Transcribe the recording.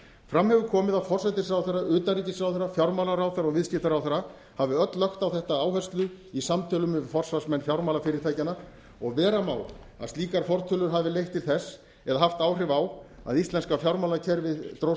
fram hefur komið að forsætisráðherra utanríkisráðherra fjármálaráðherra og viðskiptaráðherra hafi öll lagt á þetta áherslu í samtölum við forsvarsmenn fjármálafyrirtækjanna og vera má að slíkar fortölur hafi haft áhrif á að íslenska fjármálakerfið dróst